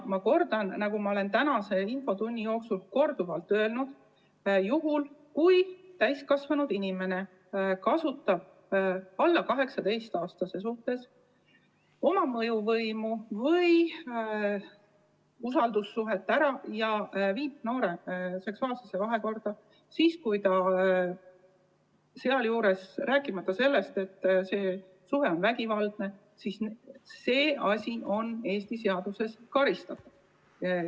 Ma kordan seda, mida olen tänase infotunni jooksul juba korduvalt öelnud: see, kui täiskasvanud inimene kasutab alla 18‑aastase noore suhtes ära oma mõjuvõimu või usaldussuhet ja astub temaga seksuaalsesse vahekorda, rääkimata sellest, et see suhe on vägivaldne, on Eesti seaduste järgi karistatav.